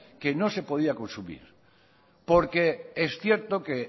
que no se podía consumir porque es cierto que